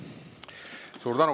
Suur tänu!